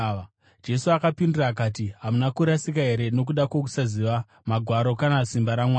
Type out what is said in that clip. Jesu akapindura akati, “Hamuna kurasika here nokuda kwokusaziva Magwaro kana simba raMwari?